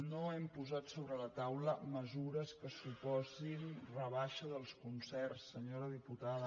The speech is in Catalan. no hem posat sobre la taula mesures que suposin rebaixa dels concerts senyora diputada